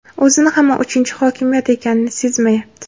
o‘zini hamon uchinchi hokimiyat ekanini sezmayapti.